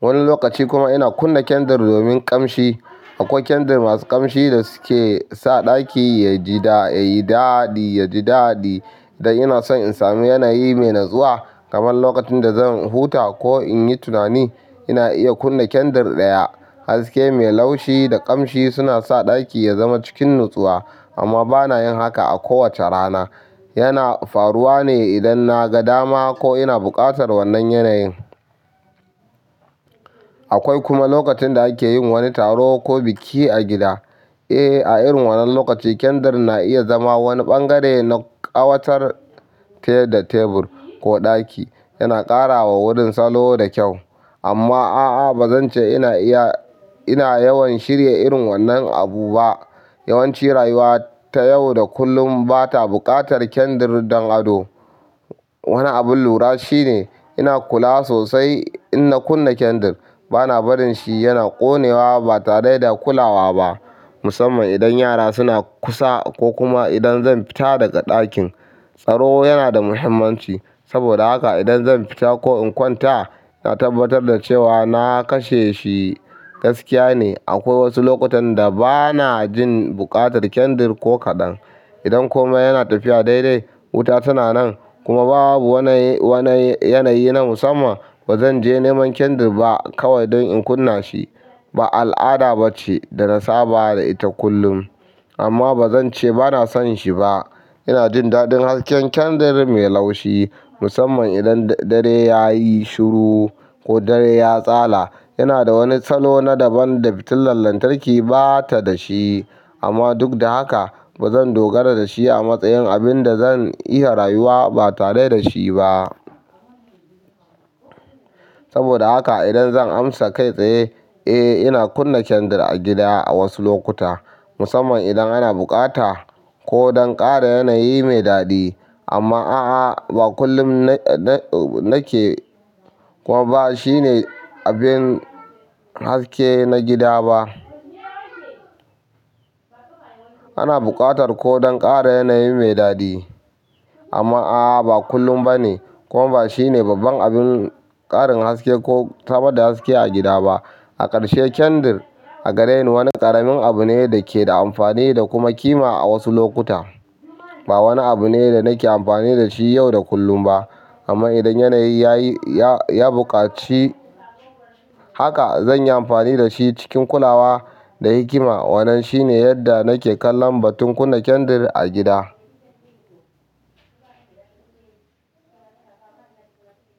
Wani lokaci kuma ina kunna kandar domin ƙamshi. Akwai kyandir masu ƙamshi da suke sa ɗaki yayi daɗi idan ina son in sami yanayi mai natsuwa. Kamar lokacin da zan huta ko in yi tunani ina iya kunna kyandir ɗaya. Haske mai laushi da ƙamshi suna sa ɗaki ya zama cikin natsuwa. Amma ba na yin haka a kowace rana. Yana faruwa ne idan na ga dama ko ina buƙatar wannan yanayin. Akwai kuma lokacin da ake yin wani taro ko biki a gida. Eh, a irin wannan lokaci kyandir na iya zama wani ɓangare na ƙawatar te da tebur ko ɗaki. Yana ƙara wa wurin salo da kyau. Amma a'a ba zan ce ina iya, ina yawan shirya irin wannan abu ba. Yawanci rayuwa ta yau da kullum ba ta buƙatar kyandir don ado. Wani abin lura shine ina kula sosai in na kunna kyandir. Ba na barin shi yana ƙone wa ba tare da kula wa ba. Musamman idan yara suna kusa ko kuma idan zan fita daga ɗakin. Tsaro yana da muhimmanci. Saboda haka idan zan fita ko in kwanta, na tabbatar da cewa na kashe shi gaskiya ne. Akwai wasu lokutan da ba na jin buƙatar kandar ko kaɗan. Idan komai yana tafiya daidai, wuta tana nan kuma babu wani, wani yanayi na musamman. Ba zan je neman kandar ba kawai don in kunna shi. Ba al'ada ba ce da na saba da ita kullum. Amma ba zan ce ba na son shi ba. Ina jin daɗin hasken kyandir mai laushi musamman idan dare ya yi shuru ko dare ya tsala. Yana da wani salo na daban da fitilar lantarki ba ta da shi. Amma duk da haka ba zan dogara da shi a matsayin abin da zan iya rayuwa ba tare da shi ba. Saboda haka idan zan amsa kai tsaye, eh ina kunna kyandir a gida a wasu lokuta musamman idan ana buƙata ko don ƙara yanayi mai daɗi. Amma a'a, ba kullum na ke, kuma ba shi ne abin haske na gida ba. Ana buƙatar ko don ƙara yanayi mai daɗi. Amma a'a, ba kullum ba ne, kuma ba shi ne babban abin ƙarin haske ko samar da haske a gida ba. A ƙarshe kyandir a gare ni wani ƙaramin abu ne da ke da amfani da kuma ƙima a wasu lokuta. Ba wani abu ne da nake amfani da shi yau da kullum ba. Amman idan yanayi ya buƙaci haka zanyi amfani dashi cikin kulawa da hikima. Wannan shine yadda nake kallon batun kunna kyandir a gida.